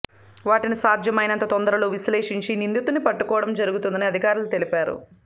వాటిని సాధ్యమైనంత తొందరలో విశ్లేషించి నిందితున్ని పట్టుకోవడం జరుగుతుందని అధికారులు తెలిపారు